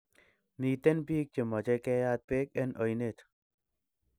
Miten pik che mache keyat peek en oinet